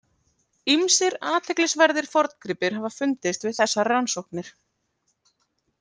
Ýmsir athyglisverðir forngripir hafa fundist við þessar rannsóknir.